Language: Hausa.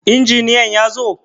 Injiniyan ya zo?